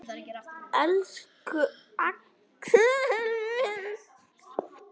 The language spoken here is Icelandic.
Elsku Axel minn.